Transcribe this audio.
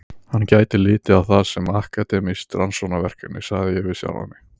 Hann gæti litið á það sem akademískt rannsóknarverkefni, sagði ég við sjálfan mig.